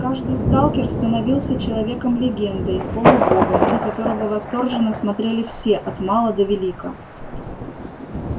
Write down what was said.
каждый сталкер становился человеком-легендой полубогом на которого восторженно смотрели все от мала до велика